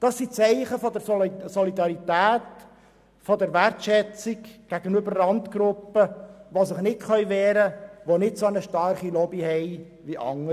Das sind Zeichen der Solidarität, der Wertschätzung gegenüber Randgruppen, die sich nicht wehren können und die keine starke Lobby haben wie andere.